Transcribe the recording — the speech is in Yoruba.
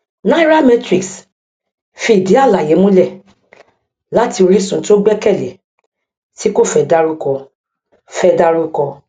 nairametrics fi ìdí àlàyé múlẹ láti orísun tí ó gbẹkẹlé tí kò fẹ dárúkọ fẹ dárúkọ